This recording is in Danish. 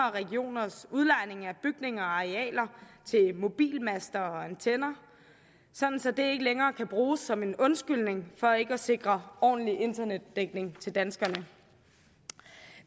og regioners udlejning af bygninger og arealer til mobilmaster og antenner så det ikke længere kan bruges som en undskyldning for ikke at sikre ordentlig internetdækning til danskerne